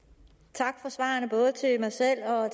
tak for svarene både til mig selv herre